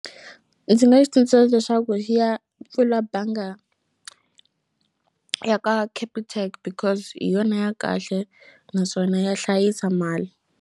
Ndzi nga yi tsundzuxa leswaku xi ya pfula banga ya ka Capitec because hi yona ya kahle naswona ya hlayisa mali.